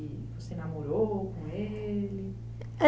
E você namorou com ele? É...